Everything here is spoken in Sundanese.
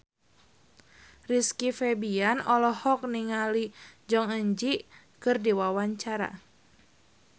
Rizky Febian olohok ningali Jong Eun Ji keur diwawancara